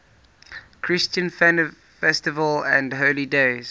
christian festivals and holy days